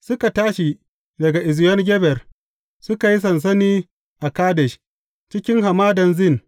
Suka tashi daga Eziyon Geber, suka yi sansani a Kadesh, cikin Hamadan Zin.